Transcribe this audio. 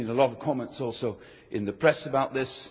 I have seen a lot of comments also in the press about this.